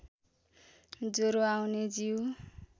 ज्वरो आउने जीउ